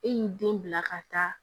E y'i den bila ka taa